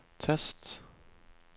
tast